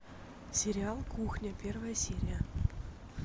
сериал кухня первая серия